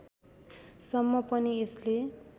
सम्म पनि यसले